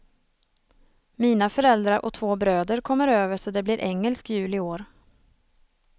Mina föräldrar och två bröder kommer över så det blir engelsk jul i år.